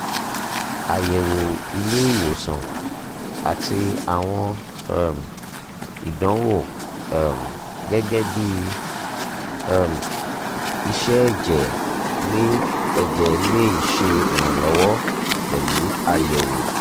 ayẹwo ile-iwosan ati awọn um idanwo um gẹgẹbi um iṣẹ ẹjẹ le ẹjẹ le ṣe iranlọwọ pẹlu ayẹwo